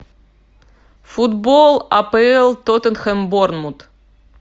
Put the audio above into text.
футбол апл тоттенхэм борнмут